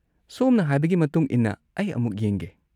ꯁꯣꯝꯅ ꯍꯥꯏꯕꯒꯤ ꯃꯇꯨꯡ ꯏꯟꯅ ꯑꯩ ꯑꯃꯨꯛ ꯌꯦꯡꯒꯦ꯫